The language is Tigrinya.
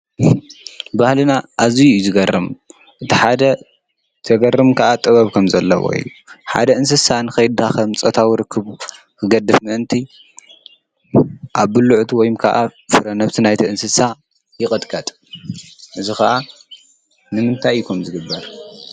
ባህልና ኣዝዩ እዩ ዝገርም! እቲ ሓደ ዝገርም ከዓ ጥበብ ከም ዘለዎ እዩ። ሓደ እንስሳ ንከይዳኸም ፆታዊ ርክብ ክገብር ምእንቲ ኣብ ብልዕቱ ወይ ፍረ-ነብሲ ናይ'ቲ እንስሳ ይቅጥቀጥ፤ እዚ ከዓ ንምምታይ እዩ ከምኡ ዝግበር?